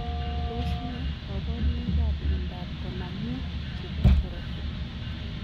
Tos ne kabarunoik ap miondoop konam muut chepo korotik?